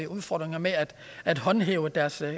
udfordringer med at at håndhæve deres